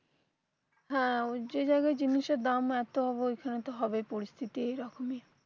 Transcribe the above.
হ্যাঁ উজ্জ জায়গায় জিনিসের দাম এতো অব ঐখানে তো হবেই পরিস্থিতি এরকমই